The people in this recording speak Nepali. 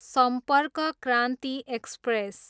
सम्पर्क क्रान्ति एक्सप्रेस